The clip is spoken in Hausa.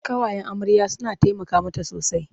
Ƙawayen amarya suna taimaka mata sosai.